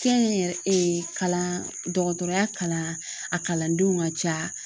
Kɛnyɛrɛ kalan dɔgɔtɔrɔya kalan a kalandenw ka ca